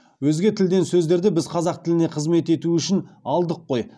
өзге тілден сөздерді біз қазақ тіліне қызмет етуі үшін алдық қой